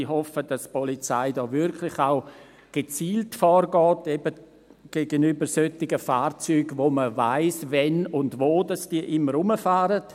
Ich hoffe, dass die Polizei hier auch wirklich gezielt vorgeht, eben gegenüber solchen Fahrzeugen, von denen man weiss, wann und wo sie immer rumfahren.